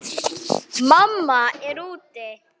Mamma er úti.